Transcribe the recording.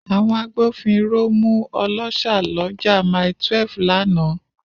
Àwọn agbófinró mú ọlọ́ṣà lọ́jà Mile12 lánàá.